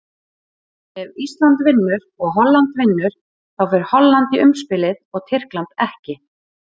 Ef Ísland vinnur og Holland vinnur, þá fer Holland í umspilið og Tyrkland ekki.